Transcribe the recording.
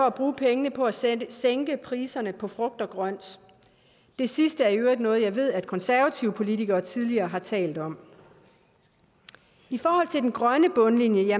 at bruge pengene på at sænke sænke priserne på frugt og grønt det sidste er i øvrigt noget jeg ved at konservative politikere tidligere har talt om i forhold til den grønne bundlinje